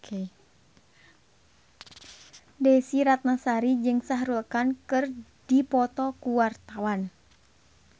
Desy Ratnasari jeung Shah Rukh Khan keur dipoto ku wartawan